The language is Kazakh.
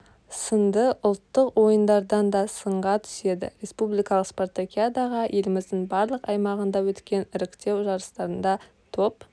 сынды ұлттық ойындардан да сынға түседі республикалық спартакиадаға еліміздің барлық аймағында өткен іріктеу жарыстарында топ